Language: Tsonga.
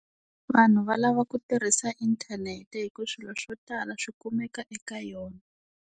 Vanhu va lava ku tirhisa inthanete hi ku swilo swo tala swi kumeka eka yona.